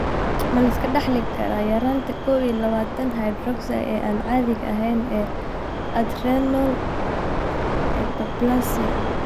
Ma la iska dhaxli karaa yaraanta 21 hydroxylase ee aan caadiga ahayn ee adrenal hyperplasia?